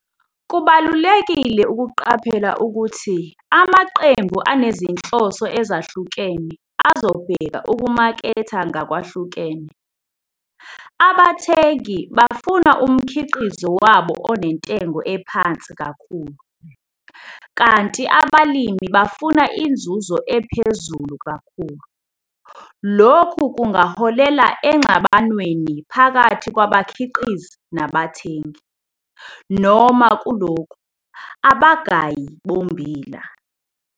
Kubalulekile ukuqaphela ukuthi amaqembu anezinhloso ezahlukene azobheka ukumaketha ngakwahlukene. Abathengi bafuna umkhiqizo wabo onentengo ephansi kakhulu, kanti abalimi bafuna inzuzo ephezulu kakhulu. Lokhu kungaholela engxabanweni phakathi kwabakhiqizi nabathengi, noma kulokhu, abagayi bommbila.